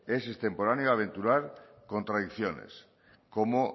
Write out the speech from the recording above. es extemporáneo aventurar contradicciones como